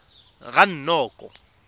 ranoko